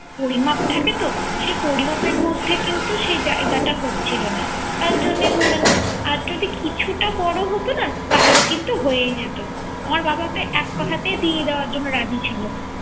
পরিমাপ থাকে তো সে পরিমপের মধ্যে কিন্তু সেই জায়গাটা হচ্ছিল না। তার জন্যই হলো না। আর যদি কিছুটা বড় হতো না তাহলে কিন্ত হয়েই যেত। আমার বাবা তো এক কথাতেই দিয়ে দেওয়ার জন্য রাজি ছিল।